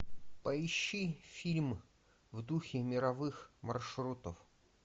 поищи фильм в духе мировых маршрутов